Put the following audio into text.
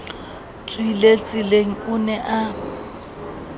tswileng tseleng o ne a